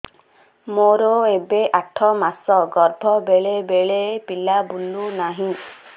ମୋର ଏବେ ଆଠ ମାସ ଗର୍ଭ ବେଳେ ବେଳେ ପିଲା ବୁଲୁ ନାହିଁ